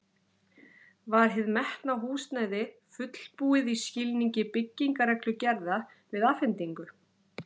Var hið metna húsnæði fullbúið í skilningi byggingarreglugerða við afhendingu?